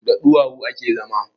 Da ɗuwawu ake zama